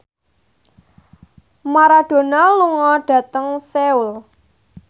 Maradona lunga dhateng Seoul